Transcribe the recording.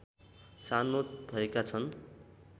छानो भएका छन्